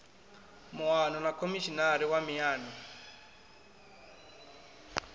muano na khomishinari wa miano